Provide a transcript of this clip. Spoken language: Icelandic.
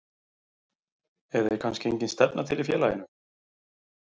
Eða er kannski engin stefna til í félaginu?